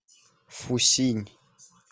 фусинь